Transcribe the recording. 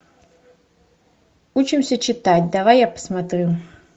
учимся читать давай я посмотрю